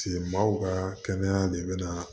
maaw ka kɛnɛya de bɛ na